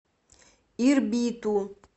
ирбиту